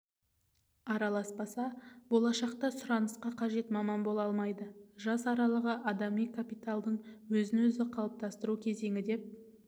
араласпаса болашақта сұранысқа қажет маман бола алмайды жас аралығы адами капиталдың өзін-өзі қалыптастыру кезеңі деп